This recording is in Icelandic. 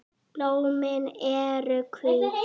Blómin eru hvít.